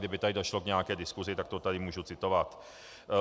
Kdyby tady došlo k nějaké diskusi, tak to tady můžu citovat.